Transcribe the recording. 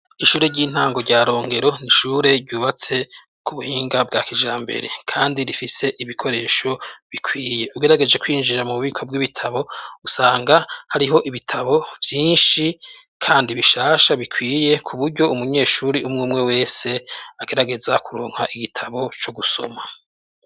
ishure ry'intango rya rongero nishure ryubatse ku buhinga bwa kijrambere kandi rifise ibikoresho bikwiye ugerageje kwinjira mu bubiko bw'ibitabo usanga hariho ibitabo byinshi kandi bishasha bikwiye kuburyo umunyeshuri umwe umwe wese agerageza kuronka igitabo cyo gusoma